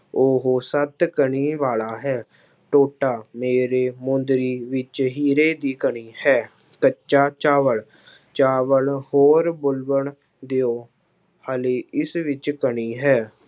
ਉਹ ਸੱਤ ਕਣੀ ਵਾਲਾ ਹੈ, ਟੋਟਾ ਮੇਰੇ ਮੂੰਹ ਦੇ ਵਿੱਚ ਹੀਰੇ ਦੀ ਕਣੀ ਹੈ, ਕੱਚਾ ਚਾਵਲ ਚਾਵਲ ਹੋਰ ਦਿਓ ਹਾਲੇ ਇਸ ਵਿੱਚ ਕਣੀ ਹੈ।